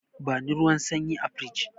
Bani ruwan sanyi a firij!